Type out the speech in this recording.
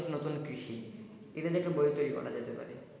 নতুন কৃষি এটা নিয়ে একটা বই তৈরি করা যেতে পারে।